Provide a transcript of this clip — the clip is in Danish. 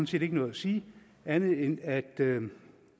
set ikke noget at sige andet end at at